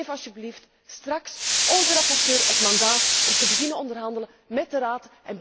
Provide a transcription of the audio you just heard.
Geef alstublieft straks onze rapporteur het mandaat om te beginnen te onderhandelen met de Raad.